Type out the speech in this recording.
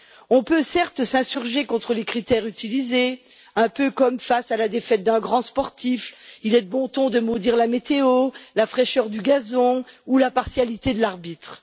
On peut certes s'insurger contre les critères utilisés, un peu comme face à la défaite d'un grand sportif il est de bon ton de maudire la météo, la fraîcheur du gazon ou la partialité de l'arbitre.